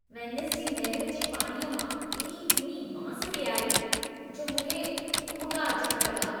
Venice जी नहिर जे पाणीअ मां एॾी किनी बांस पेई आई, जो मूंखे उॿिका अचण लॻा।